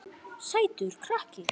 Sætur krakki!